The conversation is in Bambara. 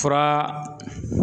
Fura